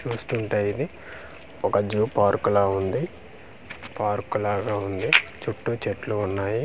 చూస్తుంటే ఇది ఒక జూ పార్క్ లా వుంది పార్క్ లాగా వుంది చుట్టూ చెట్లు వున్నాయి.